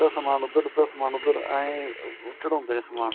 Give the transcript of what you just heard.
ਅੱਧਾ ਸਮਾਨ ਉੱਧਰ ਅੱਧਾ ਸਮਾਨ ਉੱਧਰ ਏ ਚੜਾਉਂਦੇ ਨੇ ਸਮਾਨ